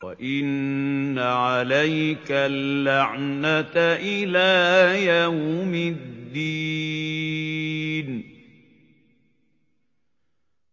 وَإِنَّ عَلَيْكَ اللَّعْنَةَ إِلَىٰ يَوْمِ الدِّينِ